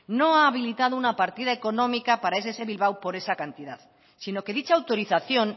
no ha habilitado una partida económica para ess bilbao por esa cantidad sino que dicha autorización